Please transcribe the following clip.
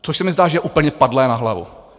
Což se mi zdá, že je úplně padlé na hlavu.